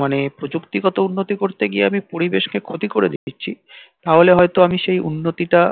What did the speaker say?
মানে প্রযুক্তি গত উন্নতি করতে গিয়ে আমি পরিবেশ কে ক্ষতি করে দিচ্ছি তা হলে আমি হয়তো সেই উন্নতি টা